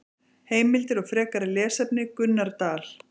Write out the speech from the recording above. Heimildir og frekari lesefni: Gunnar Dal.